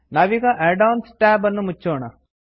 ನಾವೀಗ add ons tab ಅನ್ನು ಮುಚ್ಚೋಣ